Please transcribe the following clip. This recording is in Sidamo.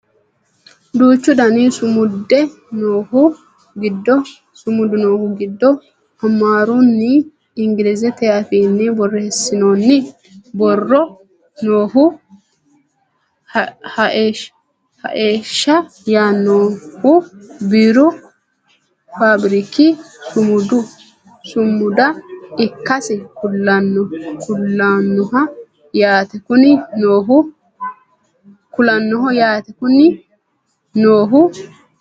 duuchu dani sumudi noohu giddo amaarunna inglizete afiinni borreessinooni borro noohu haesha yaannohu biiru faabiriki sumuda ikkasi kulannoho yaate kuni noohu